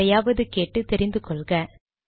யாரையாவது கேட்டு தெரிந்துகொள்க